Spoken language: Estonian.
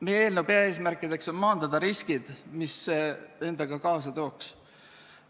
Meie eelnõu peaeesmärk on maandada riskid, mis see endaga kaasa tooks.